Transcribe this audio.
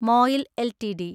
MOIL LTD